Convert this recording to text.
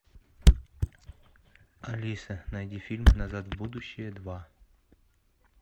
алиса найди фильм назад в будущее два